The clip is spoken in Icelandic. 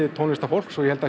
tónlistarfólk og ég held að